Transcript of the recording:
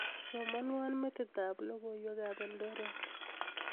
Somanwo metitab logoywekab Eldoret